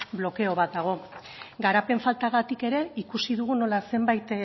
blokeo bat dago garapen faltagatik ere ikusi dugu nola zenbait